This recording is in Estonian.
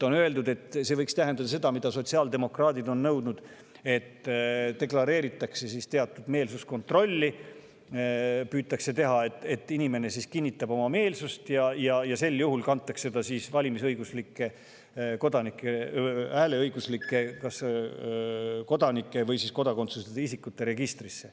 On öeldud, et see võiks tähendada seda, mida sotsiaaldemokraadid on nõudnud, et deklareeritakse teatud meelsuskontrolli, püütakse teha nii, et inimene kinnitab oma meelsust ja kantakse ta kas hääleõiguslike kodanike või kodakondsuseta isikute registrisse.